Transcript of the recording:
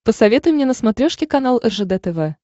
посоветуй мне на смотрешке канал ржд тв